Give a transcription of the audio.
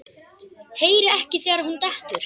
Heyri ekki þegar hún dettur.